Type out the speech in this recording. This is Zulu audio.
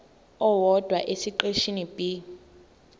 owodwa esiqeshini b